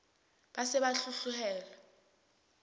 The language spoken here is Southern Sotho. ba se ba hloleha ho